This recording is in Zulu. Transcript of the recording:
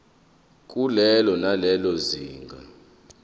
kulelo nalelo zinga